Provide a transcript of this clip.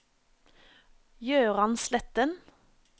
Jøran Sletten